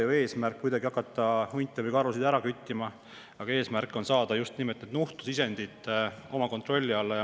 Eesmärk ei ole ju hakata hunte või karusid ära küttima, vaid eesmärk on saada just nimelt nuhtlusisendid kontrolli alla.